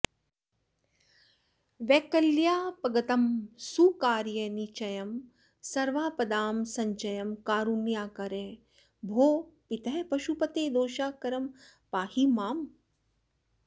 वैकल्यापगतं सुकार्यनिचयं सर्वापदां संचयं कारुण्याकर भोः पितः पशुपते दोषाकरं पाहि माम्